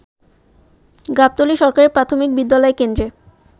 গাবতলী সরকারি প্রাথমিক বিদ্যালয় কেন্দ্রে